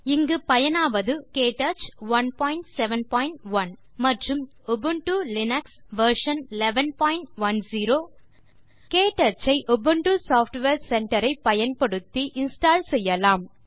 இங்கு பயனாவது Ubuntu Linux version 1110 மற்றும் க்டச் 171 க்டச் ஐ உபுண்டு சாஃப்ட்வேர் சென்டர் ஐ பயன்படுத்தி இன்ஸ்டால் செய்யலாம்